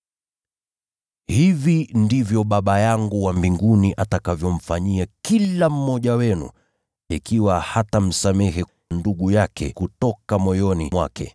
“Hivi ndivyo Baba yangu wa mbinguni atakavyomfanyia kila mmoja wenu ikiwa hatamsamehe ndugu yake kutoka moyoni mwake.”